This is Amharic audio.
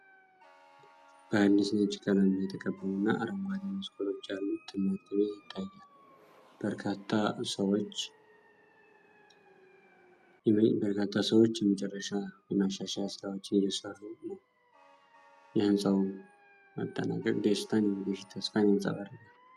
በአዲስ ነጭ ቀለም የተቀባውና አረንጓዴ መስኮቶች ያሉት ትምህርት ቤት ይታያል። በርካታ ሰዎች የመጨረሻ የማሻሻያ ስራዎችን እየሰሩ ነው። የህንፃው መጠናቀቅ ደስታና የወደፊት ተስፋን ያንፀባርቃል።